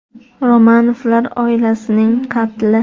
Romanovlar oilasining qatli.